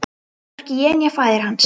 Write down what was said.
Hvorki ég né faðir hans.